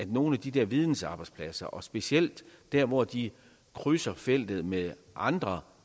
nogle af de der vidensarbejdspladser specielt hvor de krydser feltet med andre